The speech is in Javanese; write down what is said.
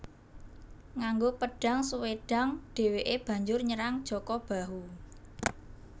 Nganggo pedhang Swedhang dheweke banjur nyerang Jaka Bahu